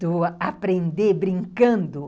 do aprender brincando.